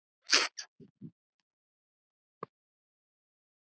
Annars er voðinn vís.